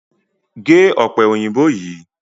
Gé ọ̀pẹ òyìnbó yìí!